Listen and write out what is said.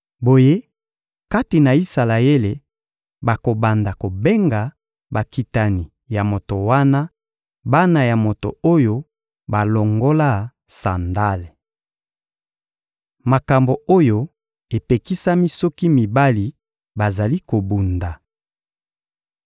Boye, kati na Isalaele, bakobanda kobenga bakitani ya moto wana «bana ya moto oyo balongola sandale.» Makambo oyo epekisami soki mibali bazali kobunda